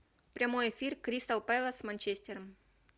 прямой эфир кристал пэлас с манчестером